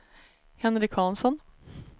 Henrik Hansson